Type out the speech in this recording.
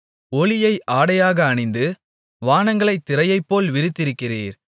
ஒளியை ஆடையாக அணிந்து வானங்களைத் திரையைப்போல் விரித்திருக்கிறீர்